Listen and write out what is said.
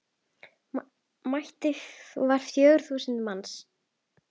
Mæting var fjögur þúsund manns.